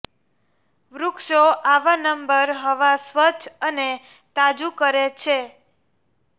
વૃક્ષો આવા નંબર હવા સ્વચ્છ અને તાજુ કરે છે